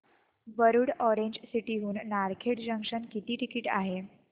Warud Orange City हून Narkhed junction किती ticket आहे